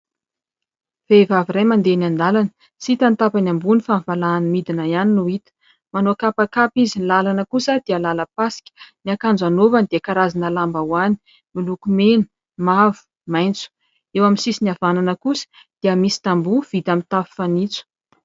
Vehivavy iray mandeha eny an-dalana tsy hita ny tapany ambony fa ny valahany midina ihany no hita, manao kapakapa izy. Ny lalana kosa dia lalam-pasika, ny akanjo anaovany dia karazana lambahoany miloko mena, mavo, maitso. Eo amin'ny sisiny havanana kosa dia misy tamboho vita amin'ny tafo fanitso.